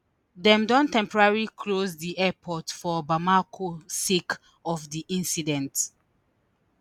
dem don temporally close di airport for bamako sake of di incident